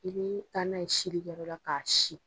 I bi taa n'a ye sini kɛ jɔyɔrɔ la k'a si.